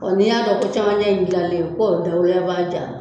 N'i y'a kɛ ko caman bɛ yen k'o b'a